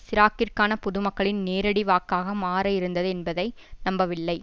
சிராக்கிற்கான பொதுமக்களின் நேரடி வாக்காக மாற இருந்தது என்பதை நம்பவில்லை